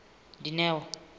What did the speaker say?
dineo